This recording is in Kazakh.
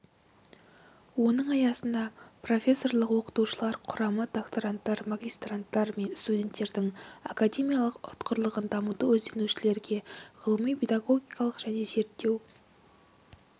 оның аясында профессорлық-оқытушылар құрамы доктаранттар магистранттар мен студенттердің академиялық ұтқырлығын дамыту ізденушілерге ғылыми педагогикалық және зерттеу